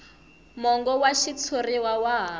mongo wa xitshuriwa wa ha